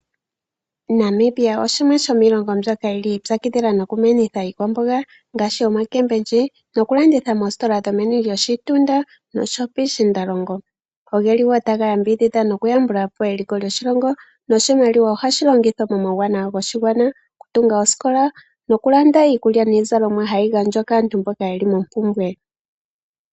Namibia oshimwe shomiilongo mbyoka yili yi ipyakidhila noku menitha iikwamboga ngaashi omboga nokulanditha moongeshefa dhomoshitunda, osho wo piishindalongo. Otaga yambidhidha nokuyambula po eliko lyoshilongo. Iimaliwa ohashi longithwa muuwanawa woshigwana ngaashi okutunga omanongele, osho wo okulanda iikulya niizalomwa mbyoka hayi gandjwa kaantu mboka yeli mompumbwe.